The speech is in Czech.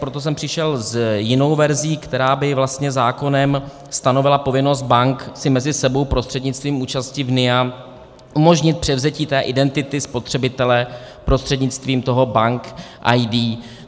Proto jsem přišel s jinou verzí, která by vlastně zákonem stanovila povinnost bank si mezi sebou prostřednictvím účasti v NIA umožnit převzetí té identity spotřebitele prostřednictvím toho bank ID.